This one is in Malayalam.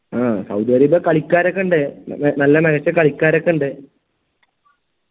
ആ സൗദി അറേബ്യ കളിക്കാരൊക്കെ ഇണ്ട് നല്ല മികച്ച കളിക്കാരൊക്കെ ഇണ്ട്